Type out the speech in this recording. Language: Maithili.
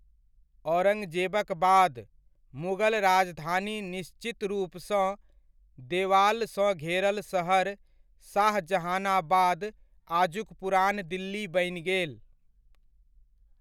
औरङ्गजेबक बाद, मुगल राजधानी निश्चित रूपसँ देवालसँ घेरल शहर शाहजहाँनाबाद आजुक पुरान दिल्ली बनि गेल।